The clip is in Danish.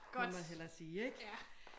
Det må jeg hellere sige ik